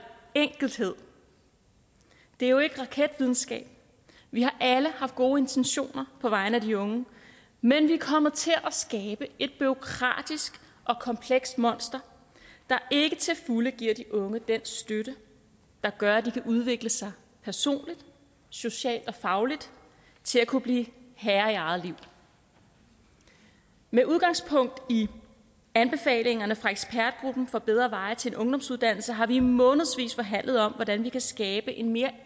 enkelhed det er jo ikke raketvidenskab vi har alle haft gode intentioner på vegne af de unge men vi er kommet til at skabe et bureaukratisk og komplekst monster der ikke til fulde giver de unge den støtte der gør at de kan udvikle sig personligt socialt og fagligt til at kunne blive herre i eget liv med udgangspunkt i anbefalingerne fra ekspertgruppen om bedre veje til en ungdomsuddannelse har vi i månedsvis forhandlet om hvordan vi kan skabe en mere